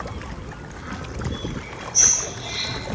Af lífinu, segir hann.